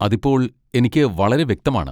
അത് ഇപ്പോൾ എനിക്ക് വളരെ വ്യക്തമാണ്.